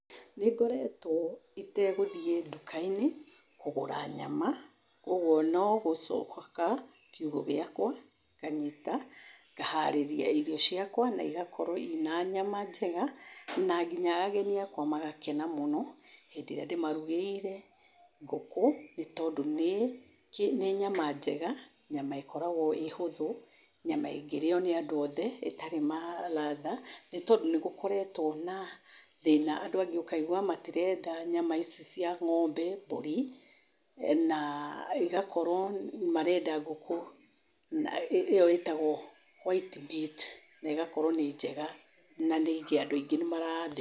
Nĩngoretwo itegũthiĩ nduka-inĩ, kũgura nyama kwoguo nogũcoka kiugũ gĩakwa ,nganyita ngaharĩria irio ciakwa , na igakorwo ina nyama njega na nginya ageni akwa magagĩkena mũno hĩndĩ ĩrĩa ndĩmarugĩire ngũkũ nĩ tondũ nĩ nyama njega , ĩkoragwo ĩhũthũ ĩngĩrĩo nĩ andũ othe ĩtarĩ magatha nĩ tondũ nĩgũkoretwo kwĩna thĩna andũ aingĩ ũkaigwa matirenda nyama ici cia ngombe, mbũri na igagĩkorwo marenda ngũkũ na ĩo ĩtagwo white meat na ĩgakorwo nĩ njega na ningĩ andũ nĩ mara.